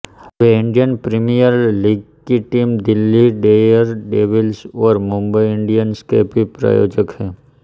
वे Indian Premier League की team Delhi Daredevils और Mumbai Indians के भी प्रायोजक हैं